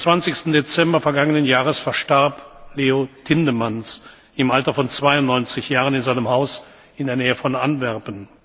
Am 26. Dezember vergangenen Jahres verstarb Leo Tindemans im Alter von 92 Jahren in seinem Haus in der Nähe von Antwerpen.